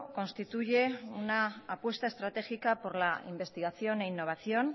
constituye una apuesta estratégica por la investigación e innovación